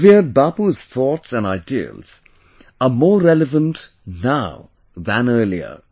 Revered Bapu's thoughts and ideals are more relevant now than earlier